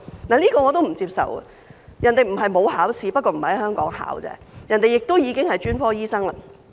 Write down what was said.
這一點我亦不接受，因為人家不是沒有考試，只是並非在香港考試而已，人家已經是專科醫生。